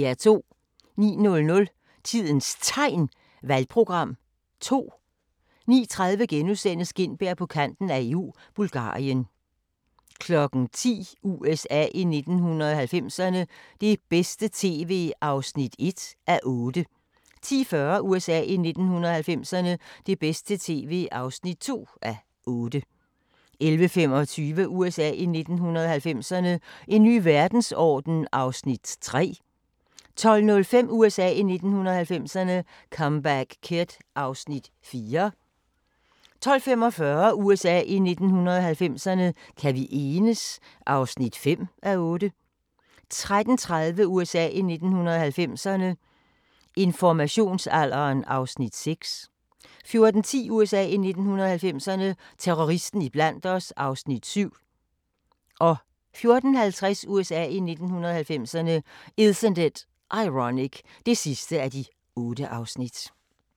09:00: Tidens Tegn – Valgprogram 2 09:30: Gintberg på Kanten af EU – Bulgarien * 10:00: USA i 1990'erne – det bedste tv (1:8) 10:40: USA i 1990'erne – det bedste tv (2:8) 11:25: USA i 1990'erne – En ny verdensorden (3:8) 12:05: USA i 1990'erne – Comeback Kid (4:8) 12:45: USA i 1990'erne – Kan vi enes? (5:8) 13:30: USA i 1990'erne – Informationsalderen (6:8) 14:10: USA i 1990'erne – Terroristen iblandt os (7:8) 14:50: USA i 1990'erne – Isn't It Ironic (8:8)